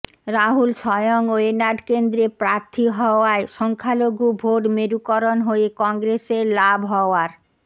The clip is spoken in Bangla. রাহুল স্বয়ং ওয়েনাড কেন্দ্রে প্রার্থী হওয়ায় সংখ্যালঘু ভোট মেরুকরণ হয়ে কংগ্রেসের লাভ হওয়ার